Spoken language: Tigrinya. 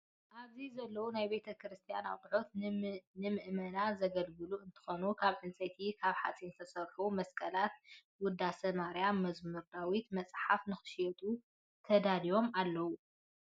ኣብዚ ዘለው ናይ ቤተ-ክረስትያን ኣቁሑት ንምእመናን ዘገልግሉ እንትኮኑ ካብ ዕንፀይትን ካብ ሓፂን ዝተሰርሑ መስቀላትን ወዳሴ-ማርያም መዝሙር ዳውት መፅሓፍት፣ ንክሽየጡ ተዳልዮም ኣለው።